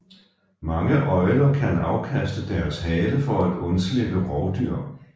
Mange øgler kan afkaste deres hale for at undslippe rovdyr